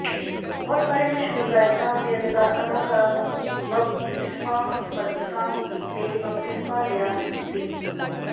ਬਹੁਤ ਸਾਰੇ ਮਸ਼ਹੂਰ ਗਾਇਕਾਂ ਅਤੇ ਅਦਾਕਾਰਾਂ ਨੂੰ ਬਪਤਿਸਮਾ ਸਮਰਥਕਾਂ ਨੇ ਬਪਤਿਸਮਾ ਲਿਆ ਸੀ